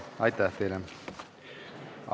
Aitäh teile!